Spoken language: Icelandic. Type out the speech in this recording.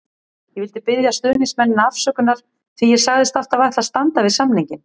Ég vil biðja stuðningsmennina afsökunar því ég sagðist alltaf ætla að standa við samninginn.